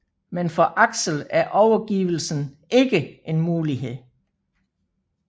Men for Alex er overgivelsen ikke en mulighed